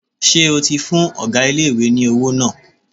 Ṣé o ti fún ọgá ilé-ìwé ní owó náà?